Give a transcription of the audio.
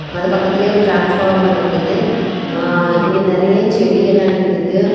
அது பக்கத்திலேயே ஒரு டிரான்ஸ்பார்மர் இருக்குது ஆ இங்க நறைய செடி எல்லா நிக்குது.